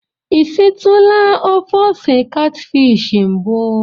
I sitụla ofe ose katfishi mbụ?